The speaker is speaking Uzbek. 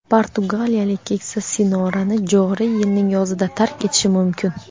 portugaliyalik "keksa sinora"ni joriy yilning yozida tark etishi mumkin.